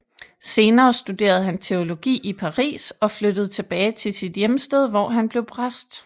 Senere studerede han teologi i Paris og flyttede tilbage til sit hjemsted hvor han blev præst